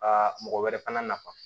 A mɔgɔ wɛrɛ fana nafa